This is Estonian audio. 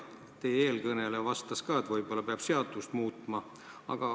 Teie eelkõneleja vastas, et võib-olla peab seadust muutma.